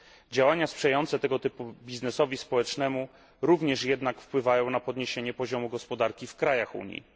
Działania sprzyjające tego typu biznesowi społecznemu również jednak wpływają na podniesienie poziomu gospodarki w krajach Unii.